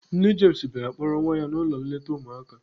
Nne James bịara kpọrọ nwa ya n'ụlọ nleta ụmụaka.